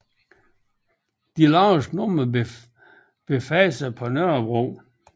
De laveste numrer befandt sig på Nørrebro